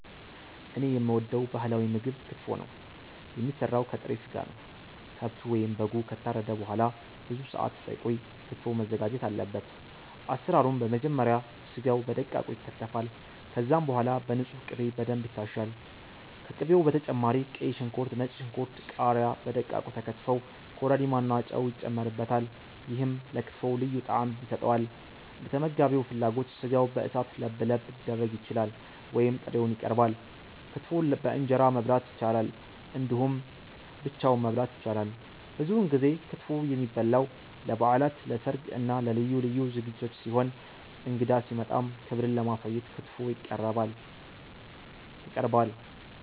እኔ የምወደው ባህላዊ ምግብ ክትፎ ነው። የሚሰራው ከጥሬ ስጋ ነው። ከብቱ ወይም በጉ ከታረደ በኋላ ብዙ ሰአት ሳይቆይ ክትፎው መዘጋጀት አለበት። አሰራሩም በመጀመሪያ ስጋው በደቃቁ ይከተፋል። ከዛም በኋላ በንጹህ ቅቤ በደንብ ይታሻል። ከቅቤው በተጨማሪ ቀይ ሽንኩርት፣ ነጭ ሽንኩርት፣ ቃሪያ በደቃቁ ተከትፈው ኮረሪማ እና ጨው ይጨመርበታል። ይሄም ለክትፎው ልዩ ጣዕም ይሰጠዋል። እንደተመጋቢው ፍላጎት ስጋው በእሳት ለብለብ ሊደረግ ይችላል ወይም ጥሬውን ይቀርባል። ክትፎን በእንጀራ መብላት ይቻላል እንዲሁም ብቻውን መበላት ይችላል። ብዙውን ጊዜ ክትፎ የሚበላው ለበዓላት፣ ለሰርግ እና ለልዩ ልዩ ዝግጅቶች ሲሆን እንግዳ ሲመጣም ክብርን ለማሳየት ክትፎ ይቀርባል።